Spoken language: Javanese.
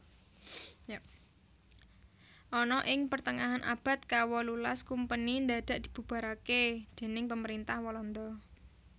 Ana ing pertengahan abad kawolulas kumpeni ndadak dibubarake déning pemerintah Walanda